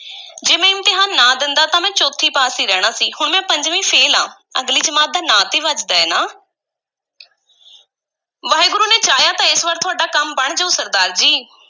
ਜੇ ਮੈਂ ਇਮਤਿਹਾਨ ਨਾ ਦੇਂਦਾ ਤਾਂ ਮੈਂ ਚੌਥੀ ਪਾਸ ਈ ਰਹਿਣਾ ਸੀ, ਹੁਣ ਮੈਂ ਪੰਜਵੀਂ ਫ਼ੇਲ ਆਂ ਅਗਲੀ ਜਮਾਤ ਦਾ ਨਾਂ ਤੇ ਵੱਜਦਾ ਹੈ ਨਾ ਵਾਹਿਗੁਰੂ ਨੇ ਚਾਹਿਆ ਤਾਂ ਇਸ ਵਾਰ ਤੁਹਾਡਾ ਕੰਮ ਬਣ ਜਾਊ ਸਰਦਾਰ ਜੀ।